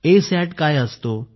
ए सॅट काय असतं